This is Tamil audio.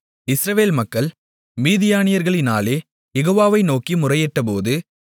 இஸ்ரவேல் மக்கள் மீதியானியர்களினாலே யெகோவாவை நோக்கி முறையிட்டபோது